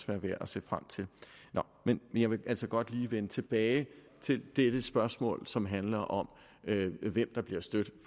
være værd at se frem til men jeg vil altså godt lige vende tilbage til det det spørgsmål som handler om hvem der bliver stødt